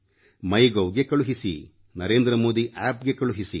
Mygovಗೆ ಕಳುಹಿಸಿರಿ NarendraModiAppಗೆ ಕಳುಹಿಸಿರಿ